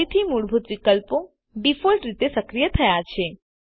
ફરીથી મૂળભૂત વિકલ્પો ડિફોલ્ટ રીતે સક્રિય થયા છે